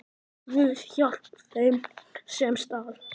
Guð, hjálpi þeim, sem stal!